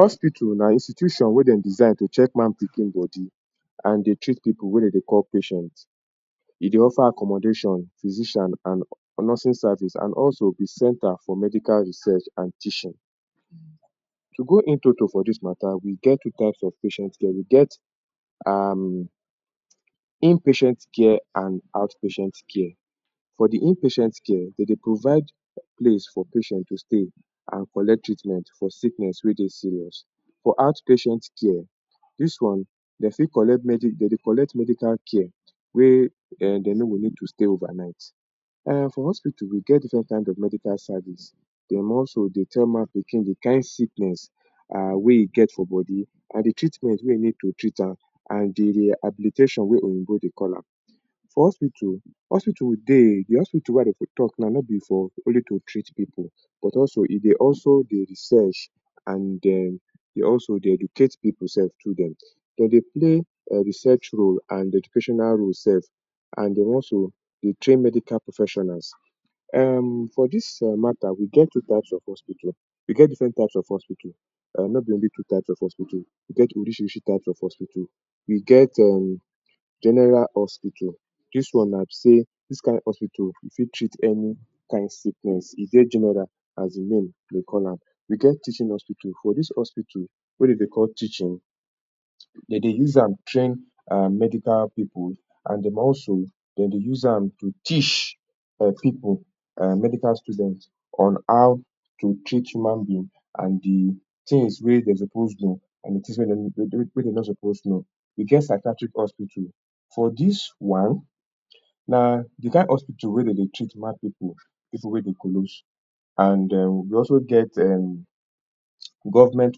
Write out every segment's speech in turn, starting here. Hospital na institution wey dem design to check man pikin body and dey treat pipu wey dem dey call patient, e dey offer accommodation, physician and nursing service and also di center for medical research and teaching. To go in to to for dis matta we get two types of patient dem, we get um inpatient care and outpatient care. For di inpatient care dem dey provide place for patients to stay and collect treatment for sickness wey dey serious. For out patient care, dis one dem fit collect dem dey collect medical care wey um dem no go need to stay over night. um For hospital wey get diffrent kind of medical service, dem also dey tell man pikin di kain sickness wey e get for body and di treatment wey e need to treatment am and di rehabilitation wey oyinbo dey call am. For hospital, hospital dey. The hospital wey I dey tok now nobi for only to treat pipu but also e dey also dey research and dey also educate pipu sef too dem dem dey play research role and educational role sef and dey also train medical professionals.[um] For dis matta, we get two types of hospital, we get diffrent type of hospital um nobi only two type of hospital. We get orishirishi type of hospital we get general hospital, dis one na be say, dis kind hospital you fit treat any kind of sickness e dey general as di name dey call am. We get teaching hospital for dis hospital wey dem dey call teaching dey dey use am train um medical pipu and dem also dem dey use am to teach um pipu, um medical students on how to treat human being and di tins wey dem suppose do and di tins wey dem no supposed know. We get psychiatric hospital, for dis one na di kain hospital wey dey dey treat mad pipu, pipu wey dey kolos and dem and um we um also get govment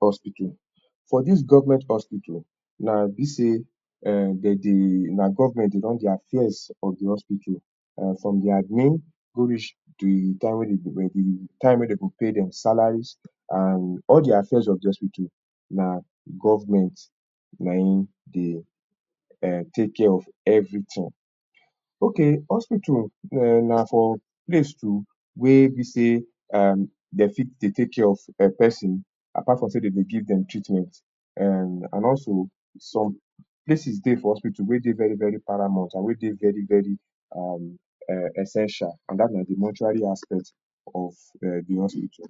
hospital. For dis govment hospital na be say um dey dem dey na govment dey run di affairs of di hospital from um di admin go reach di time wey dem go pay dem salaries and all di affairs of di hospital na govment na im dey um take care of evritin ok, hospital um na for place to wey be say dem fit dey take care of pesin apart from say dem dey give dem treatment um and also some places dey for hospital wey dey very very paramount, we dey very very um essential and dat one na di mortuary aspect of um di hospital.